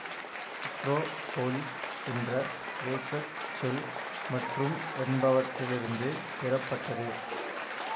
Acropolis என்ற கிரேக்க சொல் மற்றும் என்பவற்றிலிருந்து பெறப்பட்டது